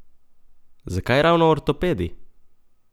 Zakaj ravno ortopedi?